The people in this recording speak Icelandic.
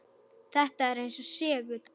Þetta er eins og segull.